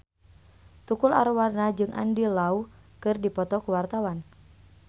Tukul Arwana jeung Andy Lau keur dipoto ku wartawan